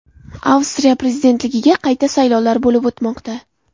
Avstriya prezidentligiga qayta saylovlar bo‘lib o‘tmoqda.